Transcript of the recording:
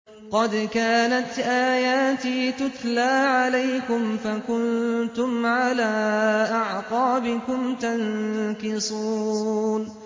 قَدْ كَانَتْ آيَاتِي تُتْلَىٰ عَلَيْكُمْ فَكُنتُمْ عَلَىٰ أَعْقَابِكُمْ تَنكِصُونَ